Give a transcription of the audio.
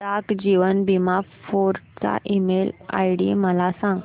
डाक जीवन बीमा फोर्ट चा email ID मला सांग